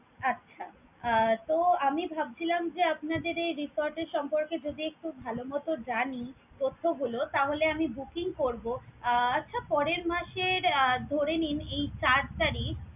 আচ্ছা! আহ তো আমি ভাবছিলাম যে আপনাদের এই resort এর সম্পর্কে যদি একটু ভালোমতো জানি তথ্যগুলো তাহলে আমি booking করব। আচ্ছা পরের মাসের ধরে নিন এই চার তারিখ